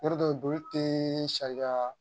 Yɔrɔ dɔ joli tɛ sariya